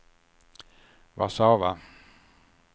Warszawa